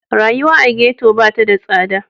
Rayuwa a ghetto ba ta da tsada.